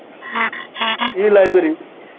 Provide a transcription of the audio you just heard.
E library